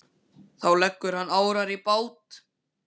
Þá leggur hann árar í bát.